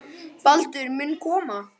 Baldur mun koma.